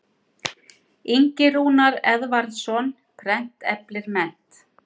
Ingi Rúnar Eðvarðsson, Prent eflir mennt.